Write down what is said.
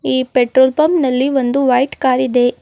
ಈ petrol pump ನಲ್ಲಿ ಒಂದು ವೈಟ್ ಕಾರ್ ಇದೆ.